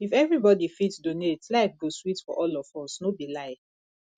if everybody fit donate life go sweet for all of us no be lie